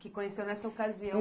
que conheceu nessa ocasião.